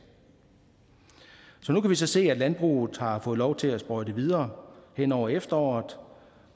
nu kan vi så se at landbruget har fået lov til at sprøjte videre hen over efteråret